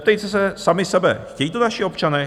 Zeptejte se sami sebe, chtějí to naši občané?